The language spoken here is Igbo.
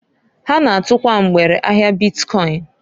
Ha na-atukwa mgbere ahia bitkọịn.